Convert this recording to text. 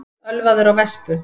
Ölvaður á vespu